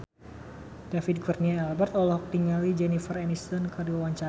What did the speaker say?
David Kurnia Albert olohok ningali Jennifer Aniston keur diwawancara